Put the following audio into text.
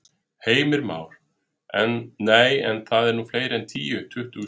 Heimir Már: Nei, en það eru fleiri en tíu, tuttugu símtöl?